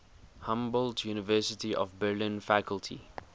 humboldt university of berlin faculty